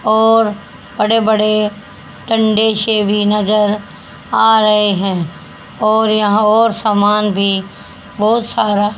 और बड़े बड़े ठंडे से भी नजर आ रहे हैं और यहां और सामान भी बहुत सारा--